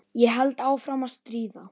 Ég held áfram að stríða.